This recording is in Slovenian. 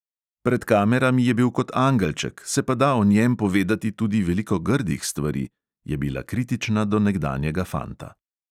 "Pred kamerami je bil kot angelček, se pa da o njem povedati tudi veliko grdih stvari," je bila kritična do nekdanjega fanta.